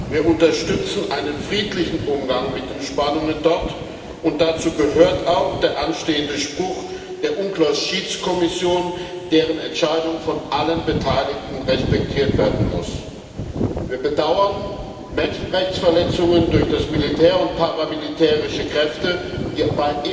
Wir unterstützen einen friedlichen Umgang mit den Spannungen dort, und dazu gehört auch der anstehende Spruch der UNCLOS Schiedskommission, deren Entscheidung von allen Beteiligten respektiert werden muss. Wir bedauern Menschenrechtsverletzungen durch das Militär und paramilitärische Kräfte, die